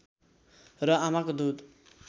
र आमाको दूध